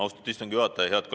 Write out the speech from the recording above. Austatud istungi juhataja!